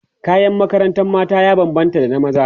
kayan makarantar mata ya banbanta da na maza